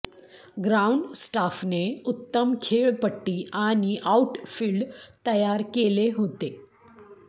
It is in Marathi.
ग्राउंडस्टाफने उत्तम खेळपट्टी आणि आउटफिल्ड तयार केले होते